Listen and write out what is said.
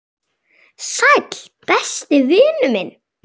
Sæll, besti vinur minn.